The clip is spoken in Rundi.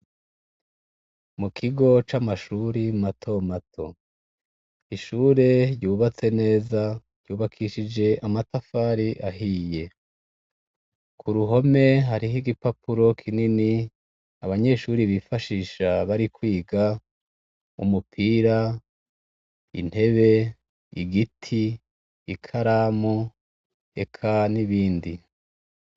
Mukigo c'amashure matomato ishure ryubatse neza ryubakishije amatafari ahiye. Kuruhome hariho igipapuro kinini abanyeshure bifashisha barikwiga umupira, intebe ,igiti, ikaramu, eka n'ibindi.